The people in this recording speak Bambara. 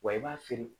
Wa i b'a feere